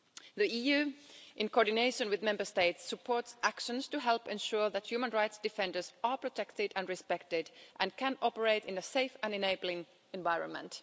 The EU, in coordination with Member States, supports actions to help ensure that human rights defenders are protected and respected and can operate in a safe and enabling environment.